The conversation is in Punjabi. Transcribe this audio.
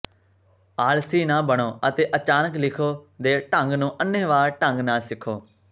ਆਲਸੀ ਨਾ ਬਣੋ ਅਤੇ ਅਚਾਨਕ ਲਿਖੋ ਦੇ ਢੰਗ ਨੂੰ ਅੰਨ੍ਹੇਵਾਹ ਢੰਗ ਨਾਲ ਸਿੱਖੋ